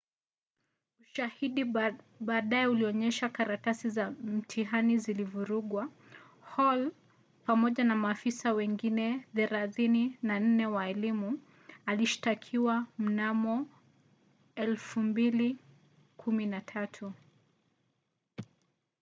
ushahidi baadaye ulionyesha karatasi za mtihani zilivurugwa. hall pamoja na maafisa wengine 34 wa elimu alishtakiwa mnamo 2013